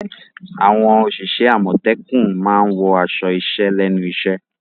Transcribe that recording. Àwọn òṣìṣẹ́ àmọ̀tẹ́kùn máa wọ aṣọ iṣẹ́ lẹ́nu iṣẹ́.